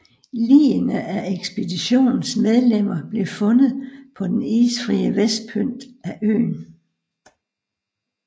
Ligene af ekspeditionens medlemmer blev fundet på den isfrie vestpynt af øen